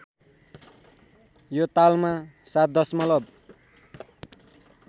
यो तालमा ७ दशमलव